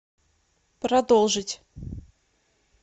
продолжить